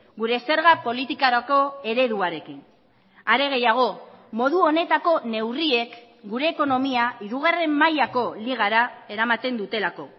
gure zerga politikarako ereduarekin are gehiago modu honetako neurriek gure ekonomia hirugarren mailako ligara eramaten dutelako